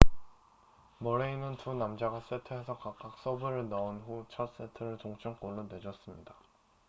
머레이는 두 남자가 세트에서 각각 서브를 넣은 후 첫 세트를 동점골로 내줬습니다